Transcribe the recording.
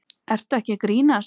Ertu ekki að grínast?